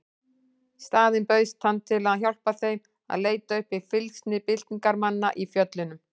Í staðinn bauðst hann til að hjálpa þeim að leita uppi fylgsni byltingarmanna í fjöllunum.